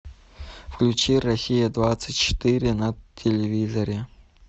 включи россия двадцать четыре на телевизоре